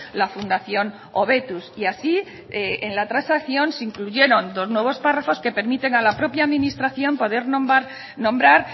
la fundación hobetuz y así en la transacción se incluyeron dos nuevos párrafos que permiten a la propia administración poder nombrar